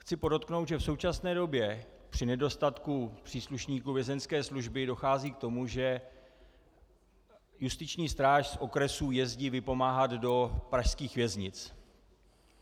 Chci podotknout, že v současné době při nedostatku příslušníků vězeňské služby dochází k tomu, že justiční stráž z okresů jezdí vypomáhat do pražských věznic.